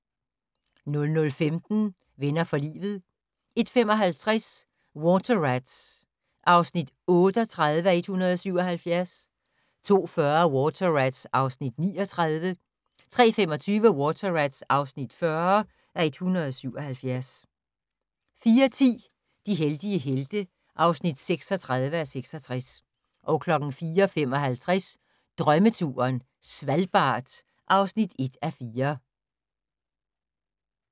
00:15: Venner for livet 01:55: Water Rats (38:177) 02:40: Water Rats (39:177) 03:25: Water Rats (40:177) 04:10: De heldige helte (36:66) 04:55: Drømmeturen - Svalbard (1:4)